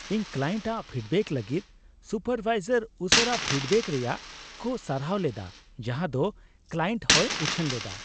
ᱤᱧ ᱠᱞᱟᱭᱮᱱᱴ ᱟᱜ ᱯᱷᱤᱰᱵᱮᱠ ᱞᱟᱹᱜᱤᱫ ᱥᱩᱯᱟᱨᱵᱷᱟᱭᱡᱟᱨ ᱩᱥᱟᱹᱨᱟ ᱯᱷᱤᱰᱵᱮᱠ ᱨᱮᱭᱟᱜ ᱠᱚ ᱥᱟᱨᱦᱟᱣ ᱞᱮᱫᱟ ᱡᱟᱸᱦᱟᱫᱚ ᱠᱞᱟᱭᱮᱱᱴ ᱦᱚᱸᱭ ᱩᱪᱷᱟᱹᱱ ᱞᱮᱫᱟ ᱾